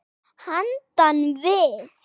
Handan við